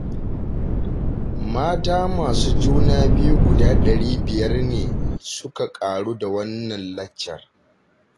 Mata masu juna biyu guda ɗari biyar ne suka ƙaru da wannan laccar